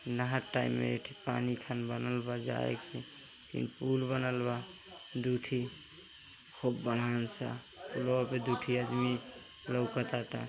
नहर टाइप में पानी संग बनल बा। के पूल बनल बा दुइ ठे खूब बड़ा सा लोग आ दुइ ठे आदमी लोकत बाटे।